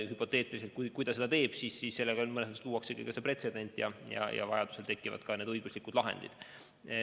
Hüpoteetiliselt, kui keegi seda teeb, siis mõnes mõttes luuaksegi pretsedent, ja vajaduse korral tekivad ka õiguslikud lahendid.